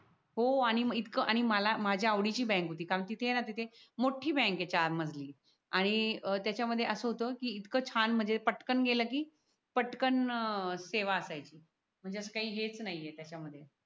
हो आणि मग इतकं आणि मला माझ्या आवडीची बँक होती कारण तिथे आहे ना तिथे मोठी बँक आहे चार मजली बँकेच्या मधली आणि त्याच्यामध्ये असं होतं की इतकं छान म्हणजे पटकन गेलं की पटकन सेवा असायची म्हणजे अस काही हेच नाही त्याच्या, मध्ये